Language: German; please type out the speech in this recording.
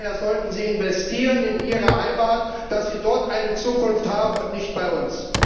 Daher sollten sie investieren in ihre Heimat, dass sie dort eine Zukunft haben und nicht bei uns.